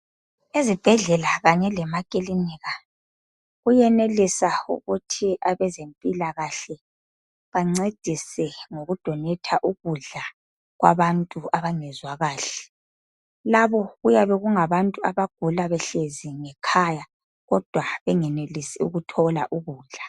Ezibhedlela kanye lemaclinikha kuyenelisa ukuthi benelise abezempilakahle bangcedise ngokudonator ukudla kwabantu abangezwa kahle labo kuyabe kungabantu abagula behlezi ngekhaya kodwa bengenelisi ukuthola ukudla